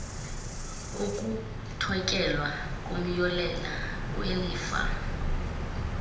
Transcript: ukuthotyelwa komyolelo welifa